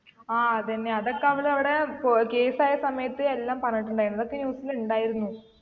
ആ അതെന്നെ അതൊക്കെ അവൾ അവിടെ പൊ case ആയ സമയത്ത് എല്ലാം പറഞ്ഞിട്ടുണ്ടായിരുന്നു ഇതൊക്കെ news ല് ഇണ്ടായിരുന്നു